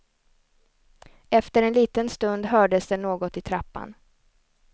Efter en liten stund hördes det något i trappan.